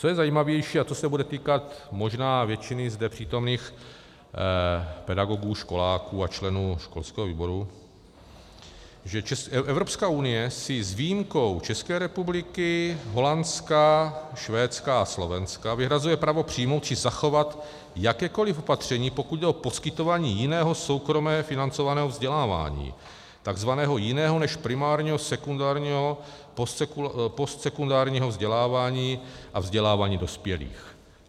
Co je zajímavější a co se bude týkat možná většiny zde přítomných pedagogů, školáků a členů školského výboru, že Evropská unie si s výjimkou České republiky, Holandska, Švédska a Slovenska vyhrazuje právo přijmout či zachovat jakékoli opatření, pokud jde o poskytování jiného soukromě financovaného vzdělávání, tzv. jiného než primárního, sekundárního, postsekundárního vzdělávání a vzdělávání dospělých.